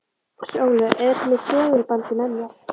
Sólu, auðvitað með segulbandið með mér.